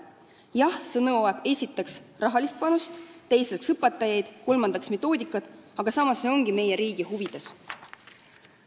Jah, see nõuab esiteks rahalist panust, teiseks õpetajaid ja kolmandaks metoodikat, aga see on meie riigi huvides.